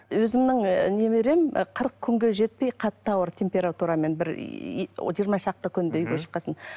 өзімнің і немерем і қырық күнге жетпей қатты ауырды температурамен бір жиырма шақты күндей үйге шыққан соң